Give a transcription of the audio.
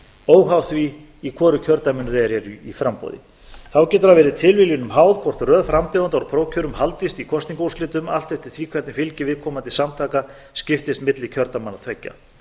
óháð því í hvoru kjördæminu þeir eru í framboði þá getur það verið tilviljunum háð hvort röð frambjóðenda úr prófkjörum haldist í kosningaúrslitum allt eftir því hvernig fylgi viðkomandi samtaka skiptist milli kjördæmanna tveggja